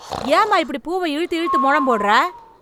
ஏம்மா இப்படி பூவ இழுத்து இழுத்து மொழம் போடுற?